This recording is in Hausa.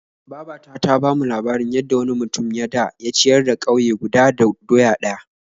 Baba ta ta bamu labarin yadda wani mutum ya da ya ciyar da ƙauye guda da doya ɗaya.